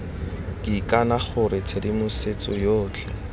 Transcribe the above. ke ikana gore tshedimosetso yotlhe